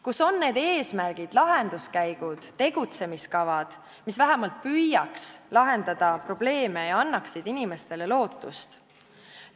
Kus on need eesmärgid, lahenduskäigud, tegutsemiskavad, mis vähemalt püüaks lahendada probleeme ja annaksid inimestele lootust?